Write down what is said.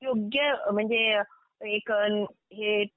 योग्य म्हणजे एक